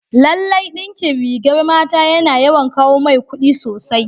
Lallai dinkin rigar mata yana yawan kawo mai kudi sosai.